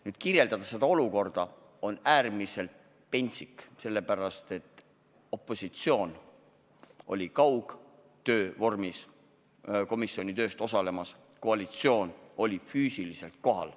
Nüüd, seda olukorda kirjeldada on äärmiselt pentsik, sellepärast et opositsioon osales komisjoni istungil kaugtöö vormis, koalitsioon oli aga füüsiliselt kohal.